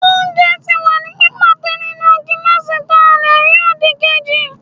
oúnjẹ ti wa ni pipátẹ nínú gilasí ta le rí odíkejí